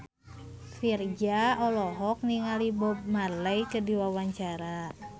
Virzha olohok ningali Bob Marley keur diwawancara